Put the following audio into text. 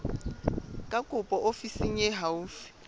ya kopo ofising e haufi